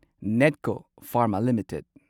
Netco pharma limited